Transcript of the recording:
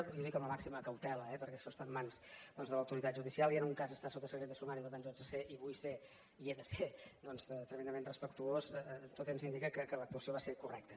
i ho dic amb la màxim cautela eh perquè això està en mans doncs de l’autoritat judicial i en un cas està sota secret de sumari per tant jo haig de ser i vull ser i he de ser doncs tremendament respectuós tot ens indica que l’actuació va ser correcta